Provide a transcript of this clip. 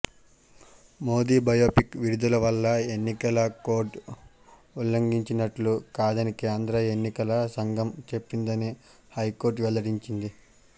Modi biopic విడుదల వల్ల ఎన్నికల కోడ్ ఉల్లంఘించినట్లు కాదని కేంద్ర ఎన్నికల సంఘం చెప్పిందని హైకోర్టు వెల్లడించింది